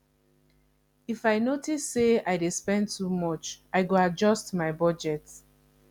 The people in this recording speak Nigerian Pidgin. if i notice say i dey spend too much i go adjust my budget